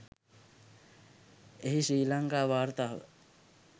එහි ශ්‍රී ලංකා වාර්තාව